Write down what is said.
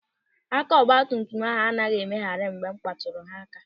Aka ọgbatumtum ahụ anaghị e megharị mgbe m kpatụrụ ha aka.